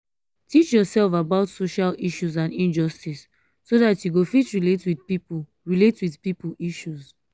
teach yourself about social issues and injustice so dat you go fit relate with pipo relate with pipo issues